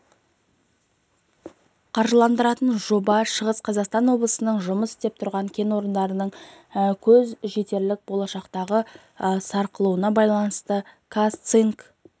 қаржыландыратын жоба шығыс қазақстан облысындағы жұмыс істеп тұрған кен орындарының көз жетерлік болашақтағы сарқылуына байланысты қазцинк